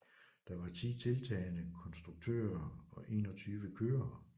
Der var ti deltagende konstruktører og enogtyve kørere